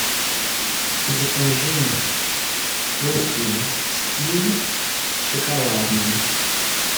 закажи русский стиль шоколадный